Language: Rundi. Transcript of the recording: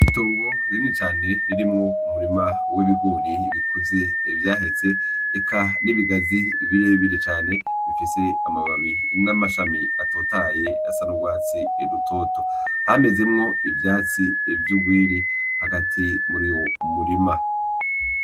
Itongo rinini cane ririmwo umurima w' ibigori bikuze vyaheze eka n' ibigazi bire bire cane bifise amababi n' amashami atotahaye asa n' ugwatsi rutoto hamezemwo ivyatsi vy'ugwiri hagati muri uwo murima.